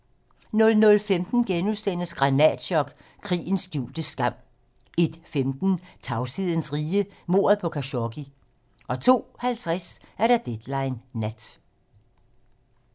00:15: Granatchok: Krigens skjulte skam * 01:15: Tavshedens rige - mordet på Khashoggi 02:50: Deadline nat